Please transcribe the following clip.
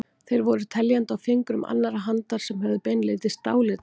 Þeir voru teljandi á fingrum annarrar handar sem höfðu beinlínis dálæti á honum.